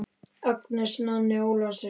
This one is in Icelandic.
Agnes, Nonni Ólafs er þarna!